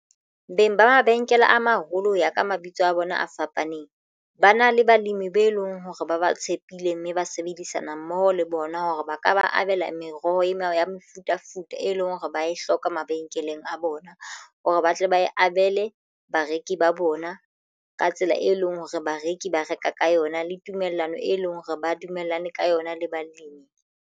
Beng ba mabenkele a maholo ho ya ka mabitso a bona a fapaneng ba na le balemi be leng hore ba ba tshepile mme ba sebedisana mmoho le bona hore ba ka ba abela meroho e meaho ya mefutafuta e lenngwe hore ba e hloka mabenkeleng a bona hore ba tle ba e abele bareki ba bona ka tsela e leng hore bareki ba reka ka yona le tumellano e leng hore ba dumellane ka yona le balemi.